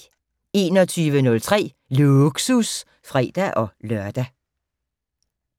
21:03: Lågsus (fre-lør)